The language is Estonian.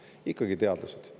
Ikka teadlased!